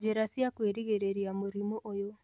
Njĩra cia kwĩgirĩrĩria mũrimũ ũyũ